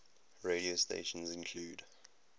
radio stations include